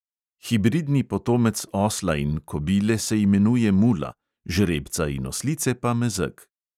Hibridni potomec osla in kobile se imenuje mula, žrebca in oslice pa mezeg.